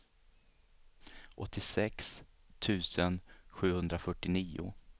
åttiosex tusen sjuhundrafyrtionio